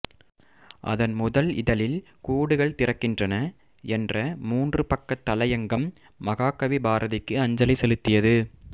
அதன் முதல் இதழில் கூடுகள் திறக்கின்றன என்ற மூன்று பக்கத் தலையங்கம் மகாகவி பாரதிக்கு அஞ்சலி செலுத்தியது